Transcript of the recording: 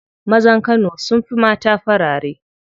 Mazan kano sun fi mata farare.